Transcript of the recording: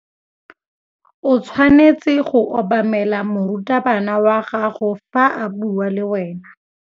O tshwanetse go obamela morutabana wa gago fa a bua le wena.